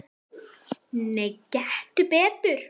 Nei, gettu betur